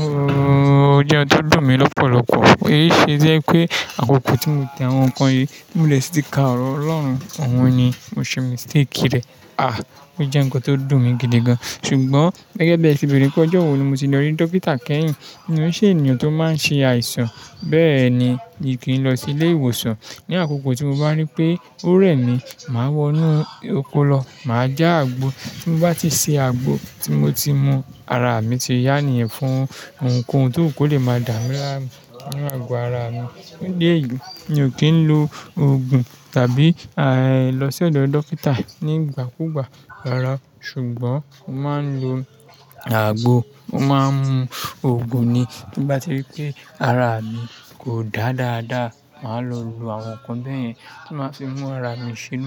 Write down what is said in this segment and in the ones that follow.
Ó jẹ́ ohun tó dùn mí lọ́pọ̀lọpọ̀, èyí ṣe jẹ́ pé àkókò tí mo te àwọn nǹkan yìí, mo lè tìka ọ̀rọ̀ Ọlọ́run, òun ni mo ṣe mistake rẹ̀. Ah! Ó jẹ́ nǹkan tó dùn mí gidi gan. Ṣùgbọ́n gẹ́gẹ́ bí eti bẹ̀rẹ̀ pé ọjọ́ wo ni mo ti lọ rí dókítà kẹ́yìn, mi ó ṣe ènìyàn tó máa ń ṣe àìsàn bẹ́ẹ̀ ni mìí kì í lọ sí ilé ìwòsàn. Ni àkókò tí mo bá rí pé ó rẹ̀ mí, màá wọnú oko lọ, màá já àgbo. Tí n bá ti ṣe àgbo, tí mo ti mu, ara mi ti yá nìyẹn fún ohunkóhun tó wù kò lè máa dààmi láàmú nínú àgọ́ ara mi. Ìdí èyí, mi ò kí ń lo òògùn tàbí lọ sí ọ̀dọ̀ dókítà nígbàkúgbà ara, ṣùgbọ́n mo máa ń lo àgbo. Mo máa ń mu òògùn ni tí bá ti rí pé ara mi kò dáa dáadáa, màá lọ lo àwọn nǹkan bẹ́ẹ̀ yẹn tí ó máa fi mú ara mi ṣe inú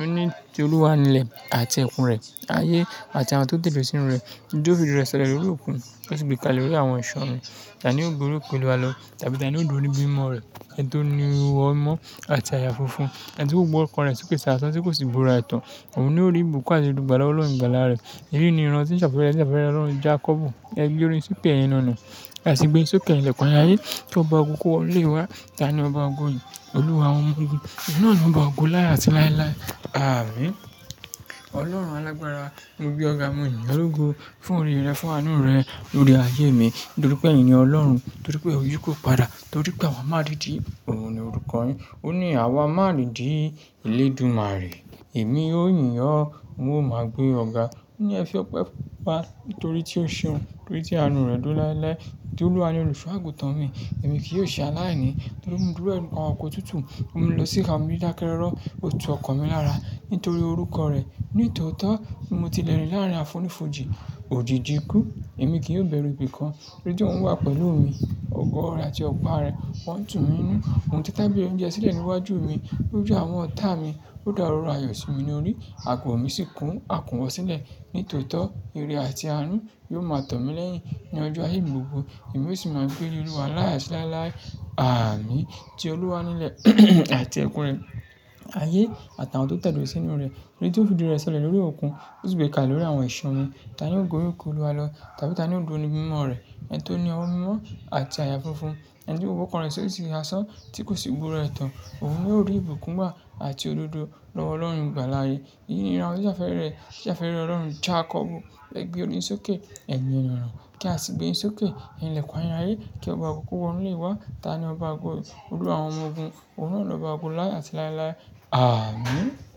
ó ní, "Ti Olúwa nilẹ̀ àti ẹkùn rẹ̀, ayé àti àwọn tó tẹ̀dó sínú rẹ̀, nítorí ó fi rẹ sọlẹ̀ lórí òkun, ó sì gbé kálẹ̀ lórí àwọn iṣan omi, tà ní yóò gori òkè Olúwa lọ, tàbí tà ní yóò dúró ní bímọ rẹ̀, ẹni tó ní ọwọ́ mímọ́ àti àyà funfun, ẹni tí kò gbé ọkàn rẹ̀ sì òkè sí asán tí kò sì búra ẹ̀tàn, òun ni ó rí ìbùkún àti olùgbàlà Ọlọ́run ìgbàlà rẹ̀. Èyí ni ìran tí ń ṣàfẹ́rẹ ṣàfẹ́rẹ Ọlọ́run Jákọ́bù, ẹ gbé orí yín sókè ẹyin ẹnu ọnà, kí a sì gbé yín sókè ẹyin ìlẹ̀kùn ayérayé, kí ọba ògo kí ó wọ inú ilé wa, ta ni ọba ògo yìí Olúwa àwọn ọmọ ogun, òun náà ni ọba ògo láé àti láéláé. Àmín. Ọlọ́run Alágbára, mo gbé ọ̀gá, mo yìn ọ́ l'ògo fún oore rẹ̀, fún àánú rẹ̀ lórí ayé mi. Nítorí pé èyín ni Ọlọ́run, nítorí pé èyí pọ̀ padà, nítorí pé àwa máa rí ìdí, òun ni orúkọ yín. Ó ní àwa máa rí ìdí elédùmarè. Èmi ó yìn ọ́, mo máa gbé ọ̀gá. Ó ní ẹ fi ọpẹ́ fún wa nítorí tí ó ṣeun, nítorí tí àánú rẹ̀ dúró lái lái. Tí Olúwa ni olùṣọ́ àgùntàn mi, èmi kì í ò ṣe aláìní, ó mú mi dùbúlẹ̀ ní pápá ọ̀kọ̀ omi tútù, ọmú mí lọ sí ìka omi dídákẹ́ rọ̀rọ̀, ó tu ọkàn mi lára nítorí orúkọ rẹ̀. Nítòótọ́ mo ti lè rí láàrín àfonífojì, òjìjì ikú, èmi kì í ó bẹ̀rù ibi kan torí pé òun wà pẹ̀lú mi. Ògo rẹ̀ àti ọ̀pá rẹ̀ wọ́n tún mi nínú, ohun títẹ́ tábìlì oúnjẹ sílẹ̀ níwájú mi. Lójú àwọn ọ̀tá mi, ó dá òróró ayọ̀ sí mi ní orí, àgọ́ mi sì kún àkúnwọ̀ sílẹ̀. Nítòótọ́, ire àti àánú yóò máa tọ̀ mí lẹ́yìn ní ọjọ́ ayé mi gbogbo. Èmi yóò sì máa gbé ilé Olúwa láé àti láéláé. Àmín. Ti Olúwa ni ilẹ̀ àti ẹkùn rẹ̀, ayé àtàwọn tó tẹ̀dó sínú rẹ̀, torí tí ó fi ìdí rẹ̀ sọlẹ̀ lórí òkun, ó sì gbé e kálẹ̀ lórí àwọn iṣàn omi, tàní yóò gori òkè Olúwa lọ, tàbí tàní yóò dúró ní ibi mímọ́ rẹ̀, ẹni tó ní ọwọ́ mímọ́ àti àyà funfun, ẹni tí kò gbé ọkàn rẹ̀ sì aṣàn tí kò sì búra ẹ̀tàn, òun ni ó rí ìbùkún gbà àti odòdò lọ́wọ́ Ọlọ́run ìgbàlà yí. Èyí ni ìran tí ń ṣàfẹ́rẹ ṣàfẹ́rẹ Ọlọ́run Jákọ́bù, ẹ gbé orí yín sókè ẹyin ẹnu ọnà, kí a sì gbé yín sókè ẹyin ìlẹ̀kùn ayérayé kí ọba ògo kó wọ inú ilé wa, ta ni ọba ògo yí, Olúwa àwọn ọmọ ogun, òun náà ni ọba ògo láé àti láéláé. Àmín.